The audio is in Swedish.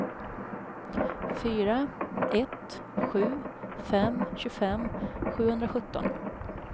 fyra ett sju fem tjugofem sjuhundrasjutton